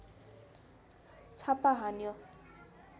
छापा हान्यो